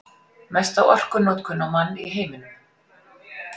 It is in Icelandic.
Mesta orkunotkun á mann í heiminum